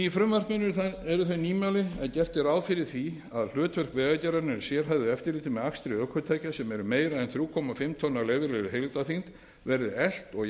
frumvarpinu eru þau nýmæli að efla á hlutverk vegagerðarinnar í sérhæfðu eftirliti með akstri ökutækja sem eru meira en þrjú og hálft tonn af leyfðri heildarþyngd og